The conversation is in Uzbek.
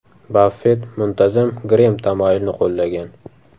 Baffett muntazam Grem tamoyilini qo‘llagan.